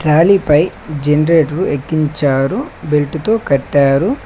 లారీపై generator ఎక్కించారు బెల్టుతో కట్టారు.